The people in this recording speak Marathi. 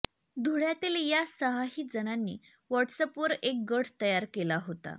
धुळ्यातील या सहाही जणांनी व्हॉट्सअॅपवर एक गट तयार केला होता